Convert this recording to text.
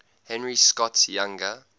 henry scott's younger